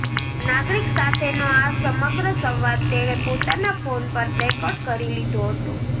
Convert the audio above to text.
નાગરિક સાથેનો આ સમગ્ર સંવાદ તેણે પોતાના ફોન પર રેકર્ડ કરી લીધો હતો